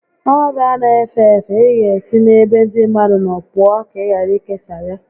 Ọrịa a n'efe efe, ị ga esi n'ebe ndị mmadụ nọ pụọ ka ị ghara ikesa ya